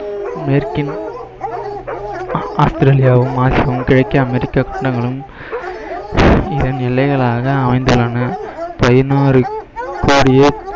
மேற்கின் ஆஸ்திரேலியாவும் ஆசியாவும் கிழக்கே அமெரிக்கா கண்டங்களும் இதன் எல்லைகளாக அமைந்துள்ளன பதினாறு கோடியே